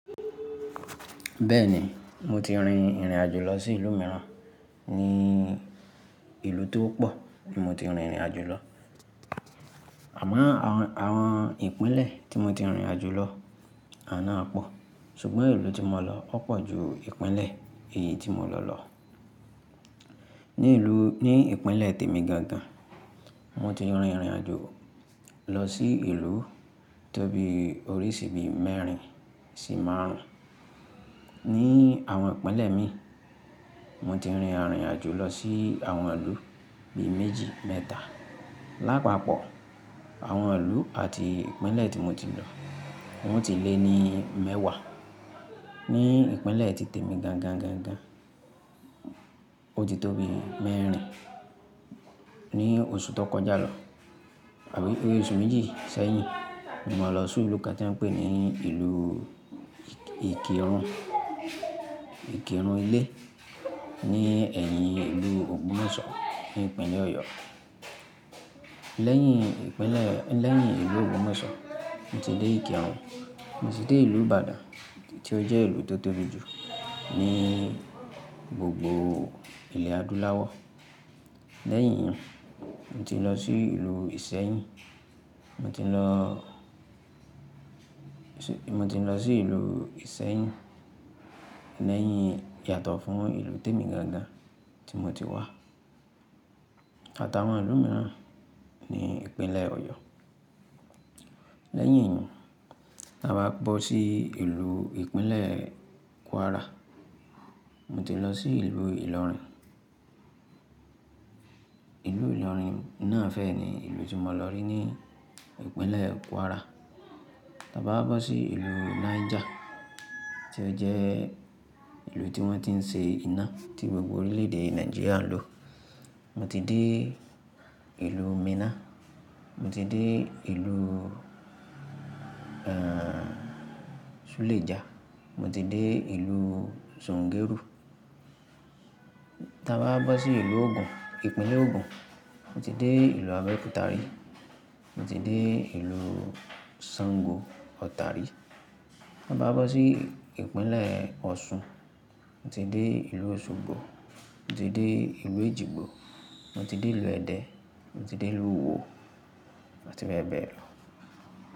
Bẹ́ẹ̀ni, mo ti rin ìrìnàjò lọ sí ìlú mìíràn, ní ìlú tó pọ̀ ni mo ti rin ìrìnàjò lọ. Àmọ́ àwọn, àwọn ìpínlẹ̀ tí mo ti rìnrìnàjò lọ àná pọ̀, ṣùgbọ́n ìlú tí mo lọ wọ́pọ̀ ju ìpínlẹ̀ èyí tí mo lọ lọ. Ní ìlú-- ní ìpínlẹ̀ Tèmì Gangan, mo ti rin ìrìnàjò lọ sí ìlú tóbi orísìí bí i mẹ́rin sì márùn-ún. Ní àwọn ìpínlẹ̀ mi, mo ti rin àrìnàjò lọ sí àwọn ìlú bí i méjì, mẹ́ta. Lápapọ̀, àwọn ìlú àti ìpínlẹ̀ tí mo ti lọ wọn ò tí ì lé ní mẹ́wàá. Ní ìpínlẹ̀ Tèmì Gangan gan gan, ó ti tóbi mẹ́rin. Ní oṣù tó kọjá lọ àbí ó oṣù méjì sẹ́yìn, mo lọ sí ìlú kan tí wọ́n ń pè ní ìlú ìkìrun, Ìkìrun ilẹ́ ní ẹ̀yìn ìlú Ògbọmoshọ ní ìpínlẹ̀ Ọ̀yọ́. Lẹ́yìn ìpínlẹ̀, lẹ́yìn ìlú Ogbọmoshọ, mo ti dé Ìkìrun, mo sì dé ìlú Ibadan tí ó jẹ́ ìlú tó tóbi jù ní gbogbo ilẹ̀ adúláwọ̀. Lẹ́yìn, mo ti lọ sí ìlú ìsẹ́yìn, mo ti lọ, mo ti lọ sí ìlú ìsẹ́yìn lẹ́yìn yàtọ̀ fún ìlú Tèmì Gangan tí mo ti wá. Àtàwọn ìlú mìíràn ní ìpínlẹ̀ Ọ̀yọ́. Lẹ́yìn, tí a bá bọ́ sí ìlú ìpínlẹ̀ Kwara, mo ti lọ sí ìlú Ìlọrin. Ìlú Ìlọrin náà fẹ́ ni ìlú tí mo lọ rí ní ìpínlẹ̀ Kwara. Tí a bá bọ́ sí ìlú Niger tí ó jẹ́ ìlú tí wọ́n ti ń ṣe iná tí gbogbo orílẹ̀-èdè Nàìjíríà ń lò. Mo ti dé ìlú Minna, mo ti dé ìlú, ẹ́, Suleja, mo ti dé ìlú Zungeru. Tí a bá bọ́ sí ìlú Ogun, ìpínlẹ̀ Ogun, mo ti dé ìlú Abẹ́òkúta rí, mo ti dé ìlú Sango Ọ̀ta rí. Tí a bá bọ́ sí ìpínlẹ̀ Ọ̀ṣun, mo ti dé ìlú Òṣogbo, mo ti dé ìlú Ejigbo, mo ti dé ìlú Ẹdẹ, mo ti dé ìlú iwó àti bẹ́ẹ̀ bẹ́ẹ̀ lọ.